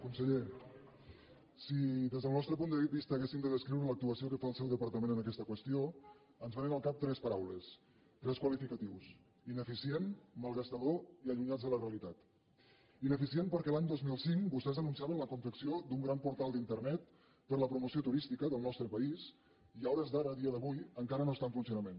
conseller si des del nostre punt de vista haguéssim de descriure l’actuació que fa el seu departament en aquesta qüestió ens vénen al cap tres paraules tres qualificatius ineficient malgastador i allunyats de la realitat ineficient perquè l’any dos mil cinc vostès anunciaven la confecció d’un gran portal d’internet per a la promoció turística del nostre país i a hores d’ara a dia d’avui encara no està en funcionament